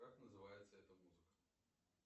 как называется эта музыка